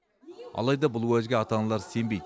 алайда бұл уәжге ата аналар сенбейді